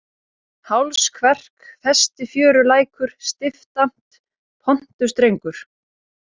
Hálskverk, Festifjörulækur, Stiftamt, Pontustrengur